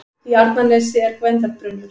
Í Arnarnesi er Gvendarbrunnur.